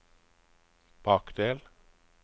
bakdel